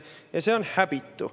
Ja see on häbitu.